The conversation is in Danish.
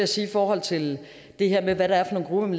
til i forhold til det her med hvad der er for nogle